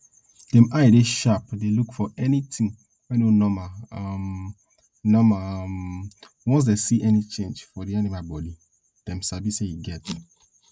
dem eye dey sharp dey look for anytin wey no normal um normal um once dem see any change for di animal bodi dem sabi say e get